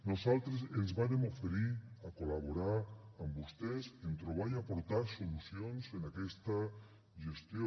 nosaltres ens vàrem oferir a col·laborar amb vostès en trobar i aportar solucions en aquesta gestió